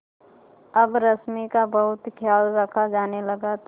अब रश्मि का बहुत ख्याल रखा जाने लगा था